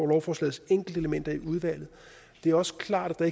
lovforslagets enkeltelementer i udvalget det er også klart at